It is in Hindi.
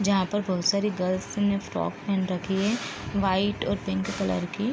जहा पर बहुत सारी गर्ल्स ने फ्रॉक पहन रखी है। वाइट और पिंक कलर की।